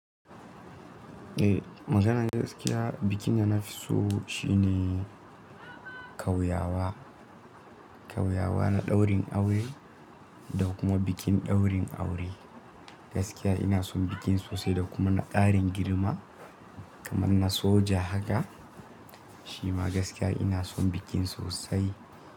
Eh, maganan gaskiya bikin da na fi so shine kauyawa. Kauyawa na daurin aure da kuma bikin daurin aure. Gaskiya ina son bikin sosai da kuma na ƙarin girma kamar na soja haka. Shima gaskiya ina son bikin sosai.